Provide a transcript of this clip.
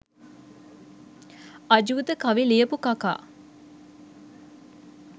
අජූත කවි ලියපු කකා